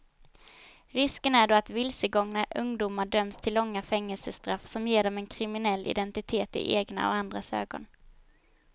Risken är då att vilsegångna ungdomar döms till långa fängelsestraff som ger dem en kriminell identitet i egna och andras ögon.